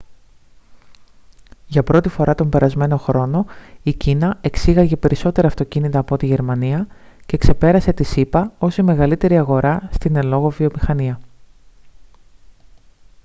για πρώτη φορά τον περασμένο χρόνο η κίνα εξήγαγε περισσότερα αυτοκίνητα από ό,τι η γερμανία και ξεπέρασε τις ηπα ως η μεγαλύτερη αγορά στην εν λόγω βιομηχανία